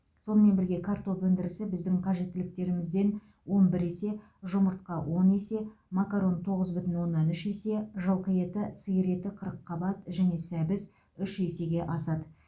сонымен бірге картоп өндірісі біздің қажеттіліктерімізден он бір есе жұмыртқа он есе макарон тоғыз бүтін оннан үш есе жылқы еті сиыр еті қырыққабат және сәбіз үш есе асады